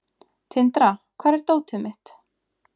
Tindra, hvar er dótið mitt?